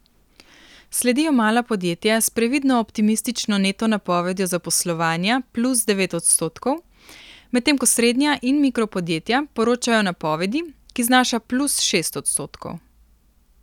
Sledijo mala podjetja s previdno optimistično neto napovedjo zaposlovanja plus devet odstotkov, medtem ko srednja in mikro podjetja poročajo o napovedi, ki znaša plus šest odstotkov.